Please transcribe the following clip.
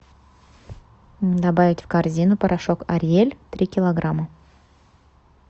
добавить в корзину порошок ариэль три килограмма